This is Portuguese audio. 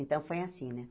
Então, foi assim, né?